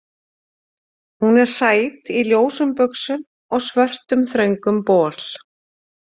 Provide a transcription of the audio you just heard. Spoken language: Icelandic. Hún er sæt, í ljósum buxum og svörtum þröngum bol.